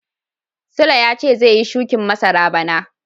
sule ya ce zai yi shukin masara bana.